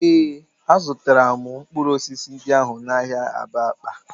Ee, azụtara m mkpụrụ osisi ndị ahụ n'ahịa Abakpa